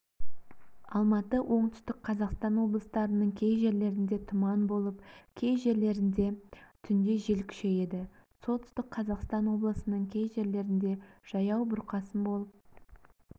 алматы оңтүстік қазақстан облыстарының кей жерлерінде тұман болып кей жерлерінде түнде жел күшейеді солтүстік қазақстан облысының кей жерлерінде жаяу бұрқасын болып